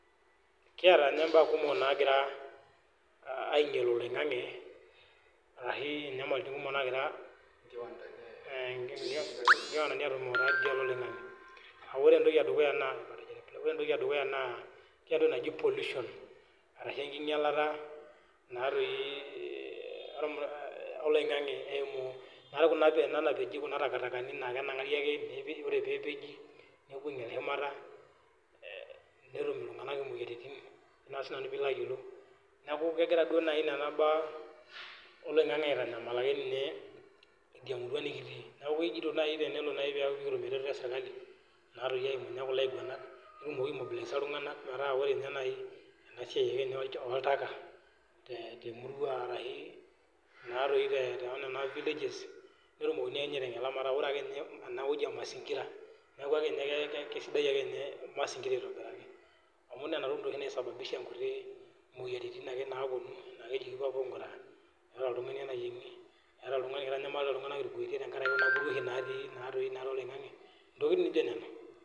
Kiata mbaa kumok nagira ainyial oloingange ore entoki edukuya naa pollution ashu enkinyialata ena napije Kuna takitakani oree pee epeji nepuo ainyial shumata netum iltung'ana moyiaritin neeku kegira Nena mbaa oloingange aitanyamal emurua nikitii neeku tenelo naaji pee kitum eretoto esirkali naa eyimu kulo ainguanak nikitum aimobolaiza iltung'ana eyimu enewueji oltaka temurua ashu tenena villages netumi aiteng'ena metaa ore enewueji ee masingira neeku kisidai ake ninye masingira aitobiraki amu Nena tokitin doi oshi naisababisha moyiaritin ake naapuonu neeku kitanyamalita iltung'ana mpuruoshi natii oloingange